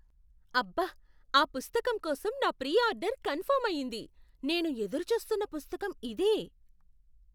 అబ్బ! ఆ పుస్తకం కోసం నా ప్రీ ఆర్డర్ కన్ఫర్మ్ అయ్యింది. నేను ఎదురు చూస్తున్న పుస్తకం ఇదే.